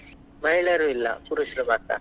ಮಹಿಳೆಯರು ಇಲ್ಲಾ ಪುರುಷರು ಮಾತ್ರ.